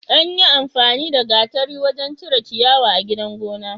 Anyin amfani da gatari wajan cire ciyawa a gidan gona